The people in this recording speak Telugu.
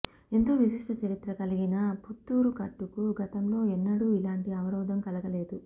ఎంతో విశిష్ట చరిత్ర కలిగిన పుత్తూరు కట్టుకు గతంలో ఎన్నడూ ఇలాంటి అవరోధం కలగలేదు